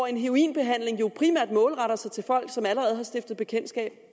en heroinbehandling jo primært er målrettet folk som allerede har stiftet bekendtskab